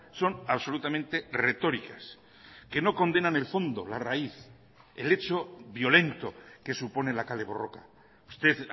son absolutamente retóricas que no condenan el fondo la raíz el hecho violento que supone la kale borroka usted